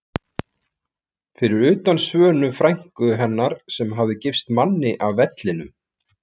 Fyrir utan Svönu frænku hennar sem hafði gifst manni af Vellinum.